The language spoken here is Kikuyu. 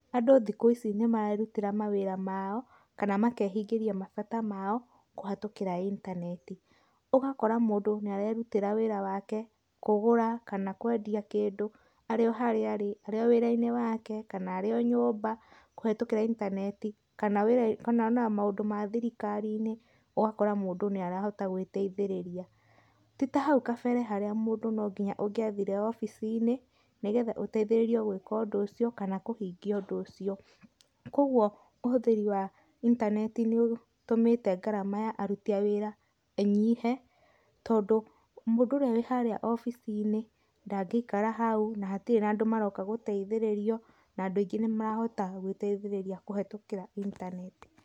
Andũ thikũ ici nĩmarerutĩra mawĩra mao, kana makehingĩria mabata mao, kũhĩtũkĩra intaneti. Ũgakora mũndũ nĩarerutĩra wĩra wake, kũgũra, kana kwendia kĩndũ, arĩ o harĩa arĩ, arĩ o wĩra-inĩ wake, kana arĩ o nyũmba, kũhĩtũkĩra intaneti, kana wĩra kana ona maũndũ ma thirikari-inĩ, ũgakora mũndũ nĩarahota gũĩteithĩrĩria. Ti ta hau kabere harĩa mũndũ no nginya ũngĩathire obici-inĩ, nĩgetha ũteithĩrĩrio gũĩka ũndũ ũcio, kana kũhingia ũndũ ũcio. Kuoguo, ũhũthĩri wa intaneti nĩũtũmĩte ngarama ya aruti a wĩra ĩnyihe, tondũ mũndũ ũrĩa wĩ harĩa obici-inĩ, ndangĩikara hau na hatirĩ na andũ maroka gũteithĩrĩrio, na andũ aingĩ nĩmarahota gũĩteithĩrĩria kũhĩtũkĩra intaneti.